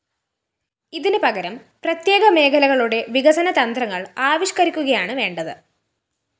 ഇതിന്‌ പകരം പ്രത്യേക മേഖലകളുടെ വികസനതന്ത്രങ്ങള്‍ ആവിഷ്കരിക്കുകയാണ്‌ വേണ്ടത്‌